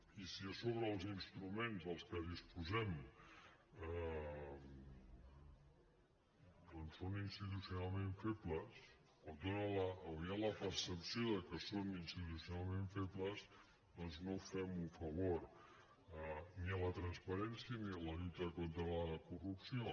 i si a sobre els instruments dels que disposem doncs són institucionalment febles o hi ha la percepció de que són institucionalment febles no fem un favor ni a la transparència ni a la lluita contra la corrupció